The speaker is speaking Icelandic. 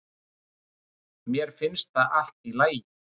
Mér finnst það allt í lagi